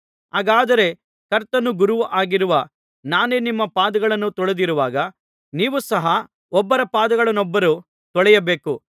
ಹಾಗಾದರೆ ಕರ್ತನೂ ಗುರುವೂ ಆಗಿರುವ ನಾನೇ ನಿಮ್ಮ ಪಾದಗಳನ್ನು ತೊಳೆದಿರುವಾಗ ನೀವು ಸಹ ಒಬ್ಬರ ಪಾದಗಳನ್ನೊಬ್ಬರು ತೊಳೆಯಬೇಕು